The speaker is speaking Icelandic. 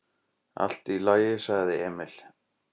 """Allt í lagi, sagði Emil."""